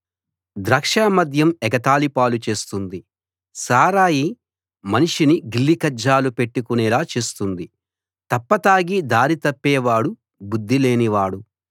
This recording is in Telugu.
ద్రాక్ష మద్యం ఎగతాళి పాలు చేస్తుంది సారాయి మనిషిని గిల్లికజ్జాలు పెట్టుకునేలా చేస్తుంది తప్ప తాగి దారి తప్పేవాడు బుద్ధి లేని వాడు